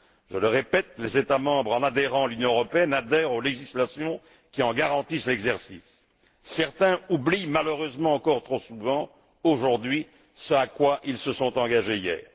Je le répète, les États membres, en adhérant à l'Union européenne, adhèrent aux actes législatifs qui garantissent l'exercice de ces valeurs. Certains oublient, malheureusement, encore trop souvent aujourd'hui ce à quoi ils se sont engagés hier.